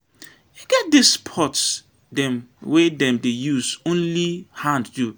E get di sports dem wey dem dey use only hand do.